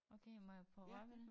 Okay må jeg prøve at røre ved det?